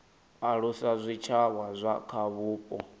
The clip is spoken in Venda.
alusa zwitshavha zwa kha vhupo